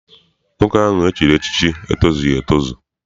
Nwoke ahụ e chiri echichi etozughi etozu.